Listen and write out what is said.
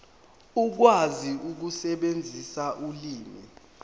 ukwazi ukusebenzisa ulimi